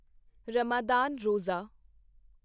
Ramadan Roza